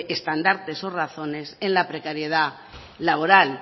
estandartes o razones en la precariedad laboral